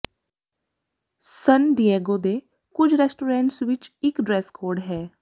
ਸਨ Diego ਕੁਝ restaurants ਵਿੱਚ ਇੱਕ ਡ੍ਰੈਸ ਕੋਡ ਹੈ